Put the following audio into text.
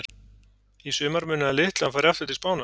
Í sumar munaði litlu að hann færi aftur til Spánar.